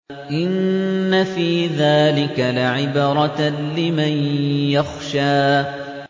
إِنَّ فِي ذَٰلِكَ لَعِبْرَةً لِّمَن يَخْشَىٰ